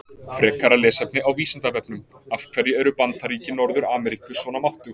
Frekara lesefni á Vísindavefnum: Af hverju eru Bandaríki Norður-Ameríku svona máttug?